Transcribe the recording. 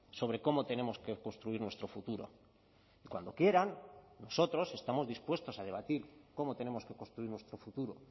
sobre cómo tenemos que construir nuestro futuro cuando quieran nosotros estamos dispuestos a debatir cómo tenemos que construir nuestro futuro